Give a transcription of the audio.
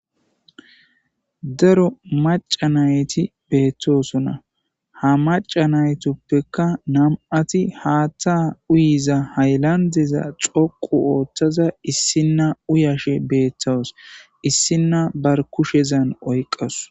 daro maca nayti beettosona ha maca naytoppekka nam7ati haattha uyiza haylandeza xoqu ooththaza issinna uyashe beeththos issinna bar kushezan oyqas